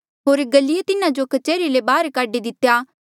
होर गल्लिये तिन्हा जो कच्हरी ले बाहर काढी दितेया